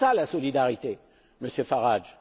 C'est cela la solidarité, Monsieur Farage.